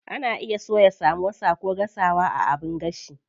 Ana iya soya samosa ko gasawa a abin gashi.